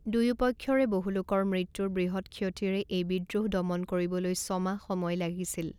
দুয়ো পক্ষৰে বহু লোকৰ মৃত্যুৰ বৃহৎ ক্ষতিৰে এই বিদ্ৰোহ দমন কৰিবলৈ ছমাহ সময় লাগিছিল।